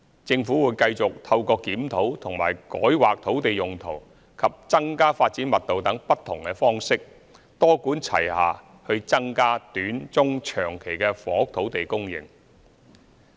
政府會繼續透過檢討和改劃土地用途及增加發展密度等不同方式，多管齊下去增加短、中、長期的房屋土地供應。